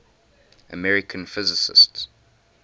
american physicists